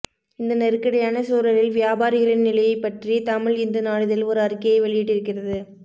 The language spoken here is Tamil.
இந்த நெருக்கடியான சூழலில் வியாபாரிகளின் நிலையைப் பற்றி தமிழ் இந்து நாளிதழ் ஒரு அறிக்கையை வெளியிட்டிருக்கிறது